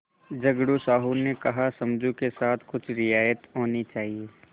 झगड़ू साहु ने कहासमझू के साथ कुछ रियायत होनी चाहिए